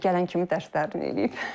Gələn kimi dərslərini eləyib.